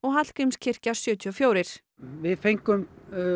Hallgrímskirkja sjötíu og fjögur við fengum